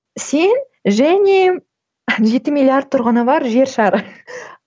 сен және жеті миллиард тұрғыны бар жер шары